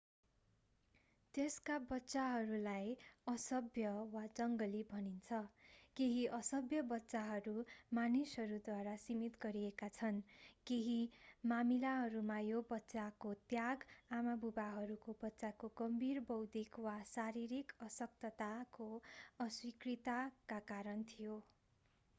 त्यस्ता बच्चाहरूलाई असभ्य” वा जङ्गली भनिन्छ। केही असभ्य बच्चाहरू मानिसहरूद्वारा सीमित गरिएका छन् सामान्यतया उनीहरूका आफ्नै अभिभावकहरू केही मामीलाहरूमा यो बच्चाको त्याग आमाबुवाहरूको बच्चाको गम्भीर बौद्धिक वा शारीरिक अशक्तताको अस्वीकृतिका कारण थियो।